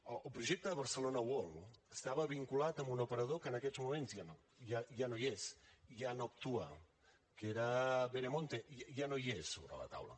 el projecte de barcelona world estava vinculat a un operador que en aquests moments ja no hi és ja no actua que era veremonte ja no hi és sobre la taula